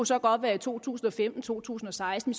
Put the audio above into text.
så godt være i to tusind og femten eller to tusind og seksten